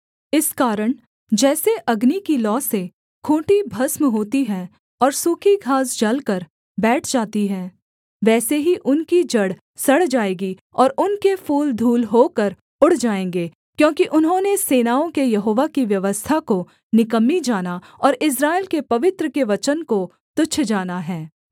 इस कारण जैसे अग्नि की लौ से खूँटी भस्म होती है और सूखी घास जलकर बैठ जाती है वैसे ही उनकी जड़ सड़ जाएगी और उनके फूल धूल होकर उड़ जाएँगे क्योंकि उन्होंने सेनाओं के यहोवा की व्यवस्था को निकम्मी जाना और इस्राएल के पवित्र के वचन को तुच्छ जाना है